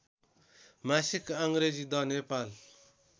मासिक अङ्ग्रेजी द नेपाल